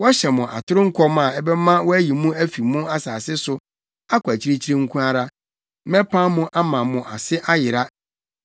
Wɔhyɛ mo atoro nkɔm a ɛbɛma wɔayi mo afi mo asase so akɔ akyirikyiri nko ara; mɛpam mo ama mo ase ayera.